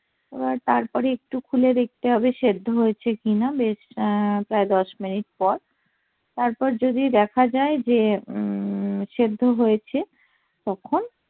তারপর একটু খুলে দেখতে হবে সেদ্ধ হয়েছে কিনা বেশআহ প্রায় দশ মিনিট পর তারপর যদি দেখা যায় যে উম সেদ্ধ হয়েছে তখন